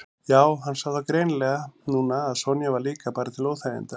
Já, hann sá það greinilega núna að Sonja var líka bara til óþæginda.